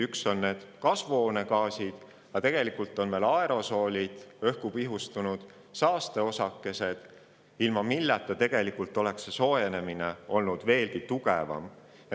Üks on inimtekkelised kasvuhoonegaasid, aga tegelikult on ka veel aerosoolid – õhku pihustunud saasteosakesed, ilma milleta oleks kliima soojenemine veelgi tugevam olnud.